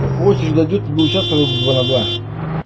как очередь дойдёт будем участвовать два на два